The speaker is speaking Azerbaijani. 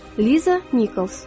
Liza Nichols.